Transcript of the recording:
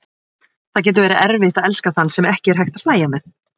Það getur verið erfitt að elska þann sem ekki er hægt að hlæja með.